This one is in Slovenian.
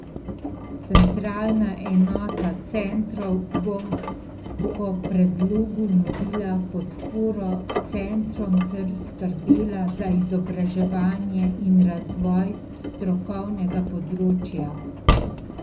Centralna enota centrov bo po predlogu nudila podporo centrom ter skrbela za izobraževanje in razvoj strokovnega področja.